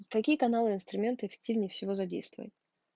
такие каналы инструменты эффективнее всего задействовать